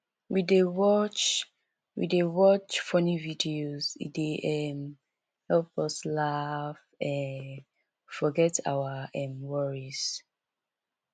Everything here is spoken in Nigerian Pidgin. we dey watch we dey watch funny videos e dey um help us laugh um forget our um worries